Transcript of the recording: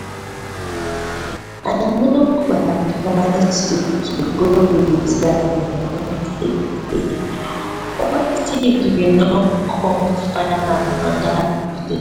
i no go advise you to go resign immediately what if you no come find another place?